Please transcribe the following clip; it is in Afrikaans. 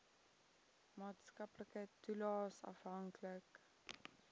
maatskaplike toelaes afhanklik